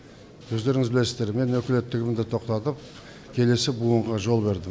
өздеріңіз білесіздер мен өкілеттігімді тоқтатып келесі буынға жол бердім